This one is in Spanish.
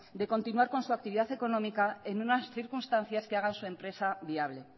de continuar con su actividad económica en unas circunstancias que hagan su empresa viable